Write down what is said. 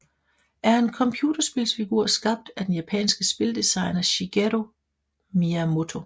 er en computerspilsfigur skabt af den japanske spildesigner Shigeru Miyamoto